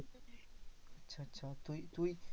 আচ্ছা তুই তুই